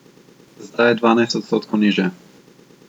Zdaj je dvanajst odstotkov nižje.